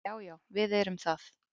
Já, já við erum það.